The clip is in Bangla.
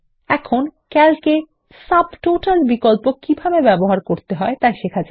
এখন ক্যালক এ সাবটোটাল বিকল্প কিভাবে ব্যবহার করতে হয় তা শেখা যাক